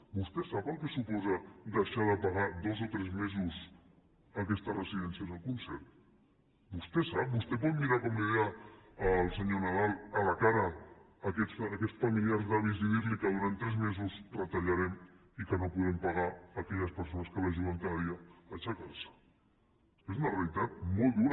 vostè sap el que suposa deixar de pagar dos o tres mesos a aquestes residències el concert vostè ho sap vostè pot mirar com li deia el senyor nadal a la cara aquests familiars d’avis i dir los que durant tres mesos retallarem i que no podrem pagar a aquelles persones que l’ajuden cada dia a aixecar se és una realitat molt dura